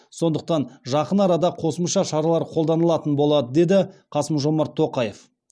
сондықтан жақын арада қосымша шаралар қолданылатын болады деді қасым жомарт тоқаев